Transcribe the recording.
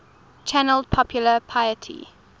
channeled popular piety